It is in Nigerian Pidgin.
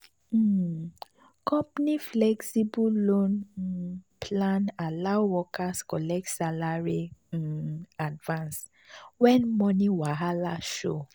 um company flexible loan um plan allow workers collect salary um advance when money wahala show.